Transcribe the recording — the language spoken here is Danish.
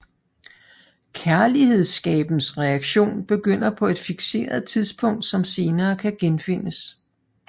Kærlidenskabens reaktion begynder på et fikseret tidspunkt som senere kan genfindes